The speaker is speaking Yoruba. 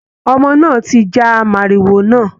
Ọmọ náà ti já mòrìwò náà.